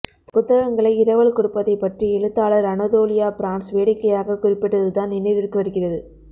புத்தகங்களை இரவல் கொடுப்பதைப் பற்றி எழுத்தாளர் அனதோலியா பிரான்சு வேடிக்கையாக குறிப்பிட்டது தான் நினைவிற்கு வருகிறது